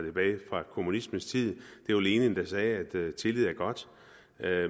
kommunismens tid det var lenin der sagde at tillid er godt